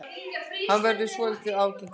Hann verður svolítið ágengari.